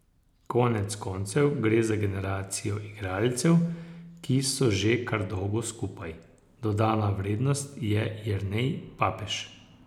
Konec koncev gre za generacijo igralcev, ki so že kar dolgo skupaj, dodana vrednost je Jernej Papež.